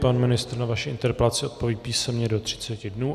Pan ministr na vaši interpelaci odpoví písemně do třiceti dnů.